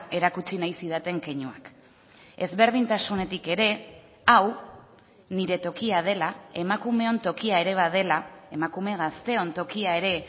erakutsi nahi zidaten keinuak ezberdintasunetik ere hau nire tokia dela emakumeon tokia ere badela emakume gazteon tokia ere